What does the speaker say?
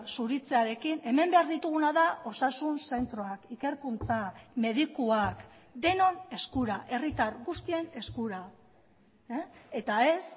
zuritzearekin hemen behar dituguna da osasun zentroak ikerkuntza medikuak denon eskura herritar guztien eskura eta ez